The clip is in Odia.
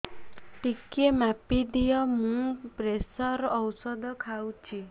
ଟିକେ ମାପିଦିଅ ମୁଁ ପ୍ରେସର ଔଷଧ ଖାଉଚି